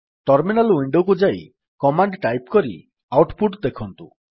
terminal window କୁ ଯାଇ command type କରି ଆଉଟ୍ ପୁଟ୍ ଦେଖନ୍ତୁ